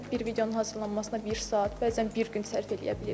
Bəzən bir videonun hazırlanmasına bir saat, bəzən bir gün sərf eləyə bilirik.